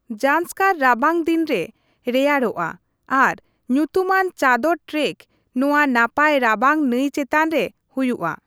ᱡᱟᱱᱥᱠᱟᱨ ᱨᱟᱵᱟᱝ ᱫᱤᱱ ᱨᱮ ᱨᱮᱭᱟᱲᱚᱜᱼᱟ ᱟᱨ ᱧᱩᱛᱩᱢᱟᱱ ᱪᱟᱫᱚᱨ ᱴᱨᱮᱠ ᱱᱚᱣᱟ ᱱᱟᱯᱟᱭ ᱨᱟᱵᱟᱝ ᱱᱟᱹᱭ ᱪᱮᱛᱟᱱ ᱨᱮ ᱦᱩᱭᱩᱜᱼᱟ ᱾